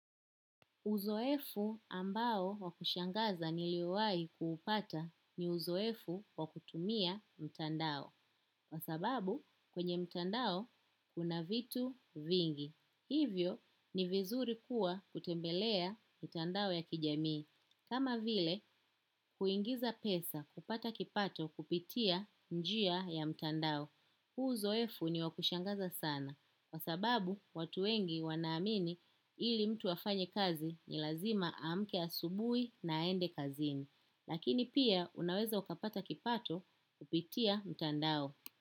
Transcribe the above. Uzoefu ambao wakushangaza nilio wahi kuupata ni uzoefu wakutumia mtandao. Kwa sababu kwenye mtandao kuna vitu vingi. Hivyo, ni vizuri kuwa ukitembelea mtandao ya kijamii. Kama vile, kuingiza pesa kupata kipato kupitia njia ya mtandao. Huu uzoefu ni wakushangaza sana. Kwa sababu watu wengi wanaamini ili mtu afanye kazi ni lazima amke asubui na aende kazini. Lakini pia unaweza ukapata kipato kupitia mtandao.